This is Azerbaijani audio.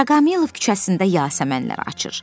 Daraqamilov küçəsində yasəmənlər açır.